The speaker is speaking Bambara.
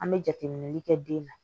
An bɛ jateminɛli kɛ den na